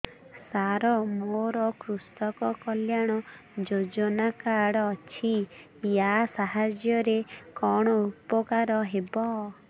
ସାର ମୋର କୃଷକ କଲ୍ୟାଣ ଯୋଜନା କାର୍ଡ ଅଛି ୟା ସାହାଯ୍ୟ ରେ କଣ ଉପକାର ହେବ